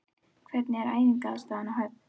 Hvernig er æfingaaðstaðan á Höfn?